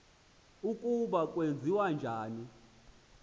ukuba kwenziwa njani